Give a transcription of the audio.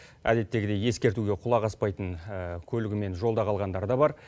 әдеттегідей ескертуге құлақ аспайтын көлігімен жолда қалғандар да бар